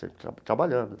Sempre tra trabalhando.